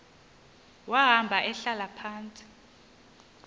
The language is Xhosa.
wahamba ehlala phantsi